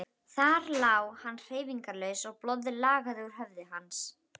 Þar lá hann hreyfingarlaus og blóðið lagaði úr höfði hans.